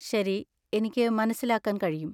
ശരി, എനിക്ക് മനസ്സിലാക്കാൻ കഴിയും.